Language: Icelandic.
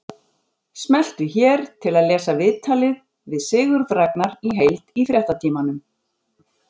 Smelltu hér til að lesa viðtalið við Sigurð Ragnar í heild í Fréttatímanum